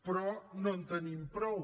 però no en tenim prou